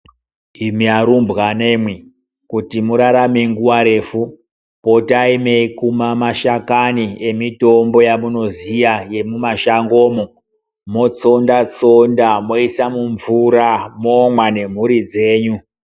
Imi arumbwanemwi. Kuti murarame nguwa refu potai meikuma mashakani emitombo yamunoziya yemumashangomo. Motsonda -tsonda moisa mumvura momwa nemhuri dzenyu.